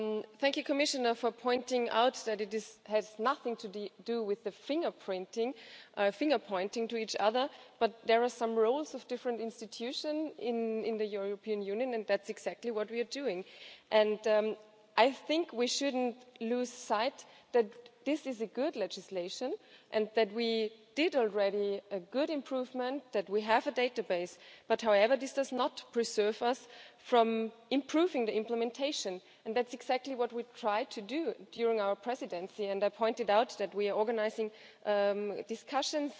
Thank you, Commissioner, for pointing out that it has nothing to do with finger pointing at each other, but there are some rules of different institutions in the European Union and that is exactly what we are doing, and I think we shouldn't lose sight that this is a good legislation and that we did already make a good improvement, that we have a database, but however, this does not prevent us from improving the implementation and that is exactly what we have tried to do during our presidency and I pointed out that we are organising discussions